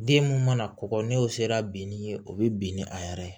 Den mun mana kɔgɔ n'o sera bin ni ye o be bin ni a yɛrɛ ye